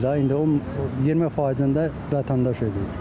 İndi 20%-ni də vətəndaş ödəyir.